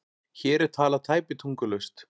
Hér er talað tæpitungulaust